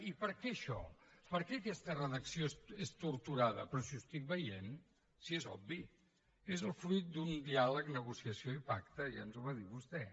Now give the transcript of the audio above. i per què això per què aquesta redacció és torturada però si ho estic veient si és obvi és el fruit d’un diàleg negociació i pacte ja ens ho va dir vostè